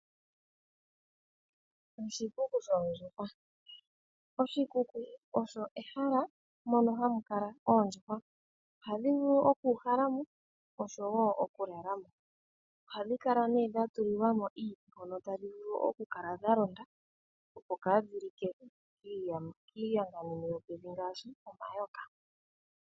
Oshikuku shoondjuhwa, oshikuku osho ehala mono hamu kala oondjuhwa ohadhi vulu oku uhala mo oshowo oku lala mo. Ohadhi kala nee dha tulilwa mo iiti hono tadhi vulu okukala dhalonda opo kaa dhi like kiiyangamwenyo yopevi ngaashi omayoka.